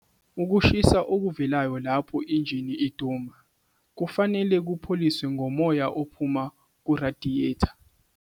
Ukushisa okuvelayo lapho injini iduma, kufanele kupholiswe ngomoya ophuma kurayidiyeta.